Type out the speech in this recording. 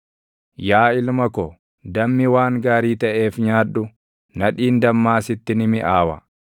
Yaa ilma ko, dammi waan gaarii taʼeef nyaadhu; nadhiin dammaa sitti ni miʼaawa.